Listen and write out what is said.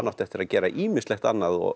átti eftir að gera ýmislegt annað